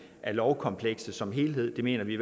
af lovkomplekset som helhed det mener vi